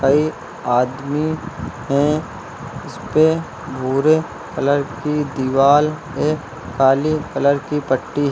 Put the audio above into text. कई आदमी हैं। इसपे भूरे कलर की दीवाल है काली कलर की पट्टी --